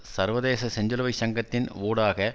சர்வதேச செஞ்சிலுவை சங்கத்தின் ஊடாக